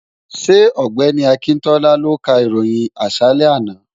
Ṣé ọ̀gbẹ́ni Akíntọ́lá ló ka ìròyìn àṣálẹ́ àná?